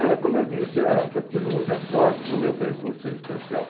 Olha, como eu disse, eh, eu acho que eu tive muita sorte no meu percurso existencial.